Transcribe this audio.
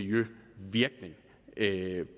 ikke